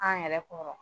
An yɛrɛ kɔrɔ